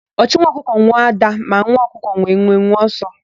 Ọchụ nwa ọkụkọ nwe ádá, ma nwa ọkụkọ nwe nwenwe ọsọ.